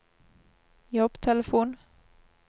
jobbtelefon